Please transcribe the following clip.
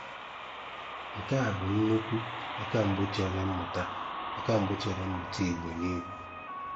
Nke a bụ nnukwu àkàm̀gbọ̀ chèré mmụ̀tà àkàm̀gbọ̀ chèré mmụ̀tà Ìgbò n’ihu.